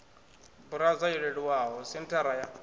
burauza yo leluwaho senthara ya